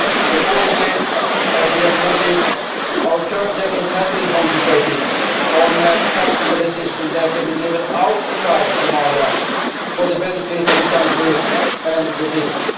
Accordingly, as you have noticed, our current efforts have been concentrated on practical assistance that can be delivered outside Somalia for the benefit of the country and the people.